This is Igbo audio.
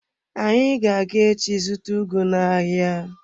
Anyị ga-aga echi zụta ugu n'ahịa.